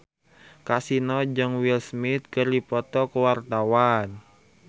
Kasino jeung Will Smith keur dipoto ku wartawan